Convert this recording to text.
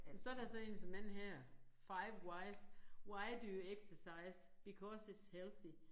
Og så der sådan én som denne her 5 wise why do you exercise? because it's healthy